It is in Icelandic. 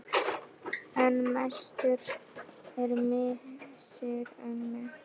En mestur er missir ömmu.